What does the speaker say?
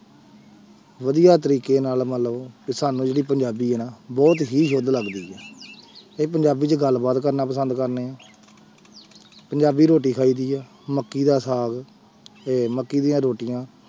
ਵਧੀਆ ਤਰੀਕੇ ਨਾਲ ਮੰਨ ਲਓ ਵੀ ਸਾਨੂੰ ਜਿਹੜੀ ਪੰਜਾਬੀ ਹੈ ਨਾ ਬਹੁਤ ਹੀ good ਲੱਗਦੀ ਹੈ ਇਹ ਪੰਜਾਬੀ 'ਚ ਗੱਲਬਾਤ ਕਰਨਾ ਪਸੰਦ ਕਰਦੇ ਹਾਂ ਪੰਜਾਬੀ ਰੋਟੀ ਖਾਈਦੀ ਹੈ ਮੱਕੀ ਦਾ ਸਾਗ ਤੇ ਮੱਕੀ ਦੀਆਂ ਰੋਟੀਆਂ